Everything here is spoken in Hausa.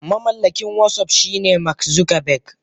Mamallakin watsap shine mark Zuckerberg.